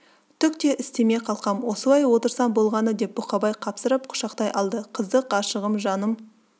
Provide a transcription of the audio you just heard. түк те істеме қалқам осылай отырсаң болғаны деп бұқабай қапсырып құшақтай алды қызды ғашығым жаным